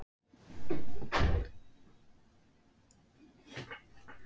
Rökin fyrir álagningu þeirra hafa fyrst og fremst byggt á fjárþörf ríkisins.